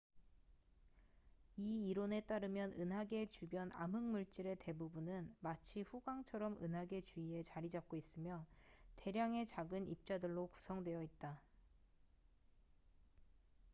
이 이론에 따르면 은하계 주변 암흑물질의 대부분은 마치 후광처럼 은하계 주위에 자리 잡고 있으며 대량의 작은 입자들로 구성되어 있다